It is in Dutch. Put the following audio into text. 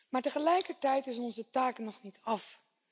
Maar tegelijkertijd is onze taak nog niet af.